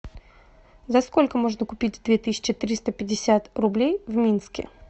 за сколько можно купить две тысячи триста пятьдесят рублей в минске